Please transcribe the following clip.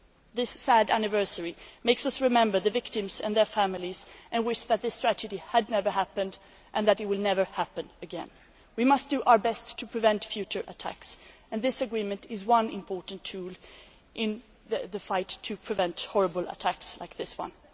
This sad anniversary makes us remember the victims and their families and we wish that this tragedy had never happened and that it will never happen again. We must do our best to prevent future attacks and this agreement is one important tool in the fight to prevent horrible attacks like this one.